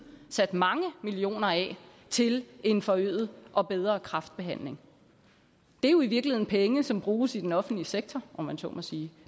sat mange millioner af til en forøget og bedre kræftbehandling det er jo i virkeligheden penge som bruges i den offentlige sektor om man så må sige